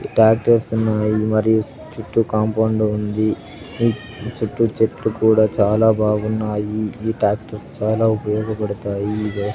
ఈ ట్యాక్టర్స్ ఉన్నాయి మరియు చుట్టూ కాంపౌండ్ ఉంది చుట్టూ చెట్లు కూడా చాలా బాగున్నాయి. ఈ ట్యాక్టర్స్ చాలా ఉపయోగపడతాయి. వ్యవ --